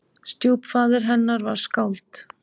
Stjúpfaðir hennar var skáld.